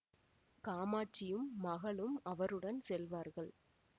காமட்சியும் மகளும் அவருடன் செல்வார்கள்